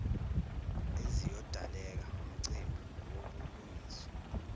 eziyodaleka ngomcimbi wobulungiswa